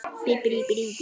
Áhættan er mikil.